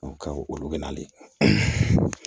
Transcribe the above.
olu bɛ nalen